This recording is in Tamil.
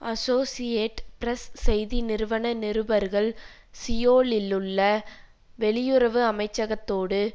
அசோசியேட் பிரஸ் செய்தி நிறுவன நிருபர்கள் சியோலிலுள்ள வெளியுறவு அமைச்சகத்தோடு